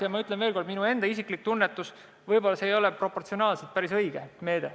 Ja ma ütlen veel kord, et minu enda isiklik tunnetus on selline, et võib-olla ei ole see proportsionaalselt päris õige meede.